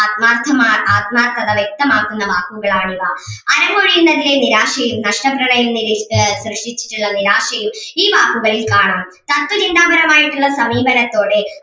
ആത്മാർഥമായ ആത്മാർഥത വ്യക്തമാക്കുന്ന വാക്കുകൾ ആണ് ഇവ അരങ്ങൊഴിയുന്നതിന്റെ നിരാശയും നഷ്ടങ്ങളെയും നിര ആഹ് സൃഷ്ടിച്ചിട്ടുള്ള നിരാശയും ഈ വാക്കുകളിൽ കാണാം. തത്വ ചിന്താ പരമായിട്ടുള്ള വാക്കികളിലൂടെ